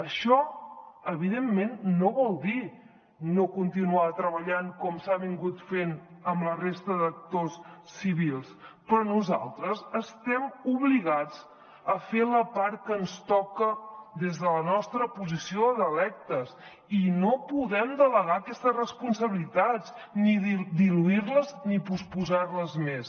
això evidentment no vol dir no continuar treballant com s’ha fet amb la resta d’actors civils però nosaltres estem obligats a fer la part que ens toca des de la nostra posició d’electes i no podem delegar aquestes responsabilitats ni diluir les ni posposar les més